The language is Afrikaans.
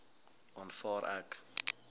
aanvaar ek